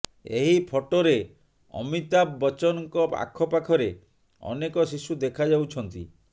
ଏହି ଫଟୋରେ ଅମିତାଭ ବଚ୍ଚନଙ୍କ ଆଖପାଖରେ ଅନେକ ଶିଶୁ ଦେଖାଯାଉଛନ୍ତି